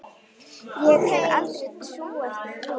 Ég hefði aldrei trúað því.